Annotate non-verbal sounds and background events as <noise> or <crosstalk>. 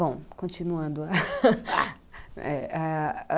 Bom, continuando <laughs>